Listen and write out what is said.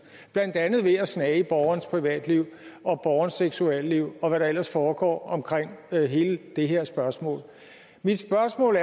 blandt andet ved at snage i borgerens privatliv og borgerens seksualliv og hvad der ellers foregår omkring hele det her spørgsmål mit spørgsmål